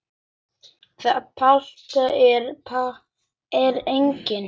Platan var aldrei gefin út.